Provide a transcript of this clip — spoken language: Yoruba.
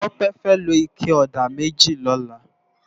Tope fè ló iké òdá mèjí lòlá